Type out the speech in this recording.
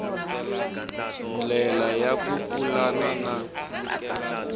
ndlela ya ku pulana na